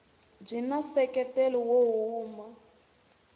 byi na nseketelo wo huma